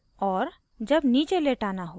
जब नीचे लेटाना है